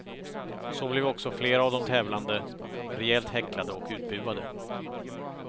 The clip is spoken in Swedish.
Så blev också flera av de tävlande rejält häcklade och utbuade.